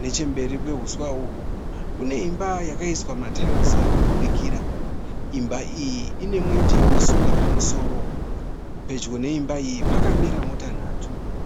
Nechemberi kwehuswa uhwu kune imba yakaiswa matairisi irikubudikira. Imba iyi inemweje wesora pamusoro. Pedyo neimba iyi pakamira mota nhatu.